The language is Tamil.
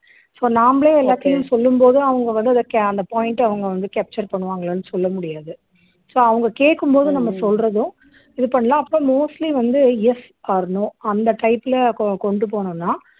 so நாமளே எல்லாத்தையும் சொல்லும் போது அவங்க வந்து அந்த point அவங்க வந்து capture பண்ணுவாங்களானு சொல்ல முடியாது so அவங்க கேக்கும் போது நம்ம சொல்றதும் இது பண்ணலாம் அப்பறம் mostly வந்து yes or no அந்த type ல கொ கொண்டு போணம்ன்னா